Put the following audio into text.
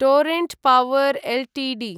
Torrent power Ltd